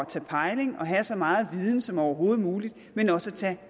tage pejling af og have så meget viden som overhovedet muligt men også at tage